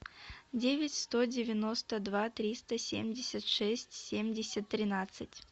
девять сто девяносто два триста семьдесят шесть семьдесят тринадцать